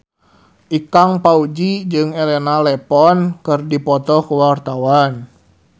Ikang Fawzi jeung Elena Levon keur dipoto ku wartawan